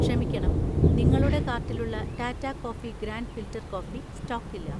ക്ഷമിക്കണം, നിങ്ങളുടെ കാർട്ടിലുള്ള Tata coffee grand filter coffee സ്റ്റോക്കില്ല